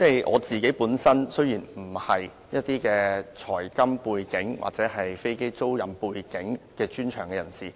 我本身並不具有財金背景，亦非飛機租賃業務背景的專長人士。